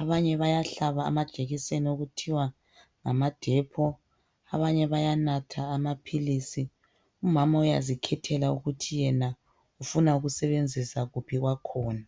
abanye bayahlaba amajekiseni okuthiwa ngamaDepo abanye bayanatha amapills omunye uyazikhethela ukuthi yena ufuna ukusebenzisa kuphi owakhona